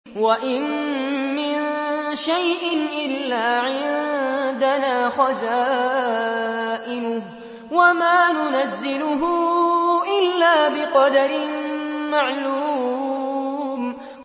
وَإِن مِّن شَيْءٍ إِلَّا عِندَنَا خَزَائِنُهُ وَمَا نُنَزِّلُهُ إِلَّا بِقَدَرٍ مَّعْلُومٍ